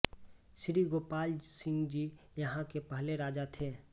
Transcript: श्री गोपाल सिंह जी यहाँ के पहले राजा थे